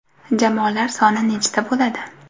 Jamoalar soni nechta bo‘ladi?